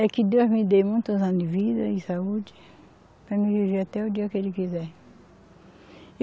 É que Deus me dê muitos anos de vida e saúde para mim viver até o dia que Ele quiser.